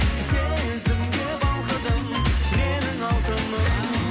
сезімге балқыдым менің алтыным